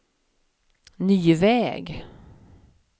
ny väg